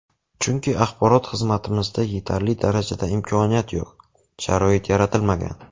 Chunki axborot xizmatimizda yetarli darajada imkoniyat yo‘q, sharoit yaratilmagan.